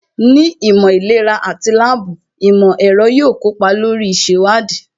Ní ìmọ̀ ìlera àti láàbù, ìmọ̀ ẹ̀rọ yóò kópa lórí ìṣèwádìí